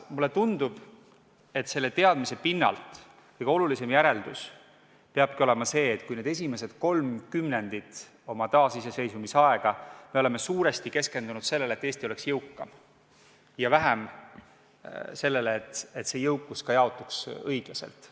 Mulle tundub, et selle teadmise pinnalt kõige olulisem järeldus peabki olema see, et esimesed kolm kümnendit oma taasiseseisvusaega me oleme suuresti keskendunud sellele, et Eesti oleks jõukam, ja vähem sellele, et see jõukus jaotuks õiglaselt.